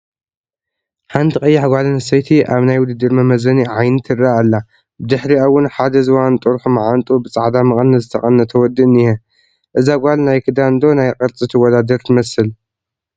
ሓንቲ ቀያሕ ጓል ኣነስተይቲ ኣብ ናይ ውድድር መመዘኒ ዓይኒ ትረአ ኣላ፡፡ ብድሕሪኣ ውን ሓደ ዝባኑ ጥርሑ ማዓንጥኡ ብፃዕዳ መቐነት ዝተቐነተ ወዲ እኒሀ፡፡ እዛ ጓል ናይ ክዳን ዶ ናይ ቅርፂ ትወዳደር ትመስል?